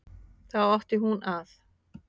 Þá átti hún að